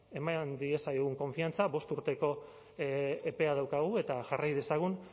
eman diezaiogun konfiantza bost urteko epea daukagu eta jarrai dezagun